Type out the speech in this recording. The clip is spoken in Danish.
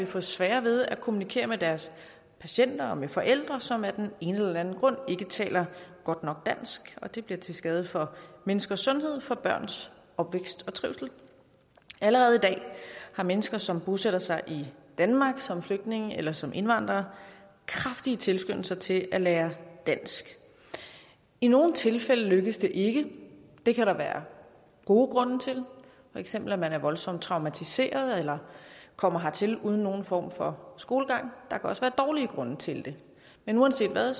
få sværere ved at kommunikere med deres patienter og med forældre som af den ene eller den anden grund ikke taler godt nok dansk og det ville blive til skade for menneskers sundhed for børns opvækst og trivsel allerede i dag har mennesker som bosætter sig i danmark som flygtning eller som indvandrer kraftige tilskyndelser til at lære dansk i nogle tilfælde lykkes det ikke det kan der være gode grunde til for eksempel at man er voldsomt traumatiseret eller kommer hertil uden nogen form for skolegang der kan også være dårlige grunde til det men uanset hvad